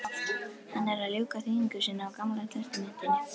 Hann er að ljúka þýðingu sinni á gamla testamentinu.